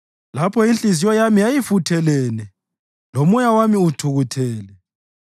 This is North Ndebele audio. Lapho inhliziyo yami yayifuthelene lomoya wami uthukuthele,